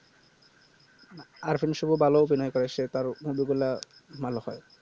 আরিফ হোসেন ভালো অভিনয় করেছে তার movie গুলা ভালো হয়